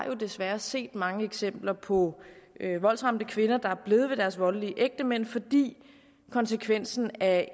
jo desværre har set mange eksempler på voldsramte kvinder der er blevet hos deres voldelige ægtemænd fordi konsekvensen af